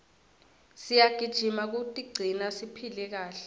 siyagijima kutigcina siphile kahle